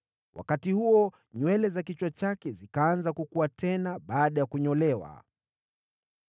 Wakati huo nywele za kichwa chake zikaanza kukua tena baada ya kunyolewa.